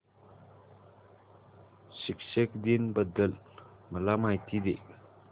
शिक्षक दिन बद्दल मला माहिती दे